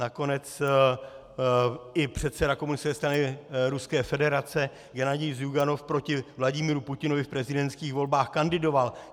Nakonec i předseda komunistické strany Ruské federace Gennadij Zjuganov proti Vladimiru Putinovi v prezidentských volbách kandidoval.